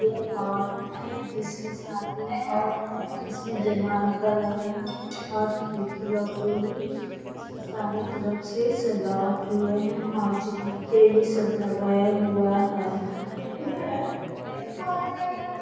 यह हॉल है जिसमें शादी हॉल है इसमें जयमाल का लगा है और खिड़की लौउक रही है इसमें सारे तरफ से सजावट हुए है और चुकभुकिया ये सब सब लगाया हुआ है ।